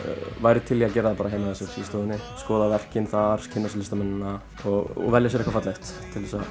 væri til í að gera það heima hjá sér í stofunni skoða verkin þar kynna sér listamennina og velja sér eitthvað fallegt til að